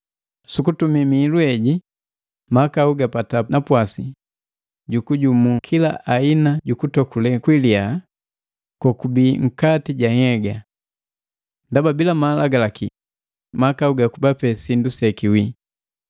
Sukutumi mihilu heji, mahakau gapata napwasi jukujumu kila aina jukutokulee kwalia kokubi nkati ja nhyega. Ndaba bila Malagalaki mahakau gakubape sindu sekiwii.